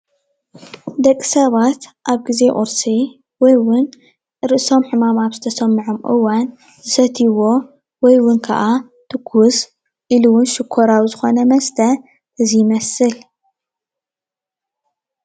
ደቂ ሰባት ኣብ ግዜ ቁርሲ ወይ እውን ርእሶም ሕማም አብ ዝተሰምዖም እዋን ዝሰትይዎ ወይውን ከዓ ትኩስ ኢሉ እዉን ሽኮርያዊ ዝኾነ መስተ እዚ ይመስል።